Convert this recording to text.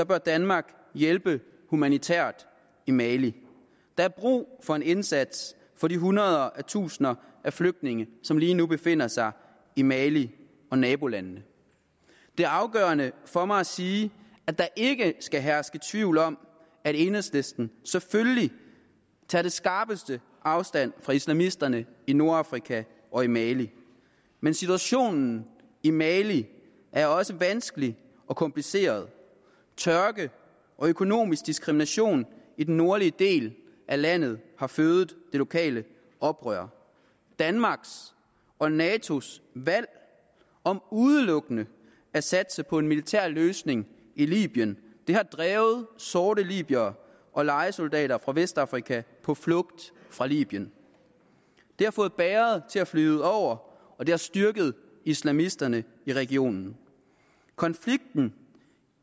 bør danmark hjælpe humanitært i mali der er brug for en indsats for de hundrede af tusinder af flygtninge som lige nu befinder sig i mali og nabolandene det er afgørende for mig at sige at der ikke skal herske tvivl om at enhedslisten selvfølgelig tager den skarpeste afstand fra islamisterne i nordafrika og i mali men situationen i mali er også vanskelig og kompliceret tørke og økonomisk diskrimination i den nordlige del af landet her fødet det lokale oprør danmarks og natos valg om udelukkende at satse på en militær løsning i libyen har drevet sorte libyere og lejesoldater fra vestafrika på flugt fra libyen det har fået bægeret til at flyde over og det har styrket islamisterne i regionen konflikten